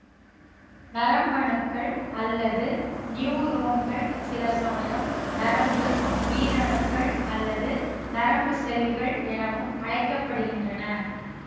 நரம்பணுக்கள் அல்லது நியூரோன்கள் சிலசமயம் நரம்பு உயிரணுக்கள் அல்லது நரம்பு செல்கள் எனவும் அழைக்க படுகின்றன